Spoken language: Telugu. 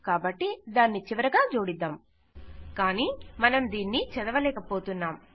కాబట్టి దానిని చివరగా జోడిద్దాం కానీ మనం దీనిని చదవలేక పోతున్నాం